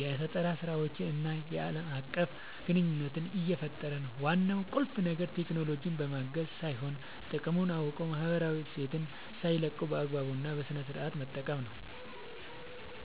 የፈጠራ ስራዎችን እና ዓለም አቀፍ ግንኙነት እየፈጠረ ነው። ዋናው ቁልፍ ነገር ቴክኖሎጂን ማውገዝ ሳይሆን፣ ጥቅሙን አውቆ ማህበራዊ እሴትን ሳይለቁ በአግባቡ እና በስነሥርዓት መጠቀም ነው።